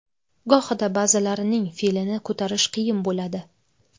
Gohida ba’zilarining fe’lini ko‘tarish qiyin bo‘ladi.